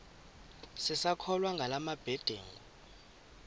sisakholwa ngala mabedengu